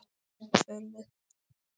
Hvert förum við?